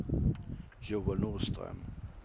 Joel Norström